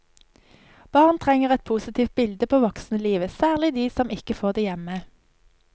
Barn trenger et positivt bilde på voksenlivet, særlig de som ikke får det hjemme.